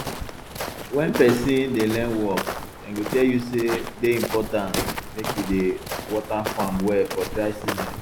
wen person dey learn work dem go tell you say dey important make you dey water farm well for dry season